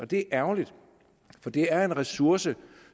det er ærgerligt for det er en ressource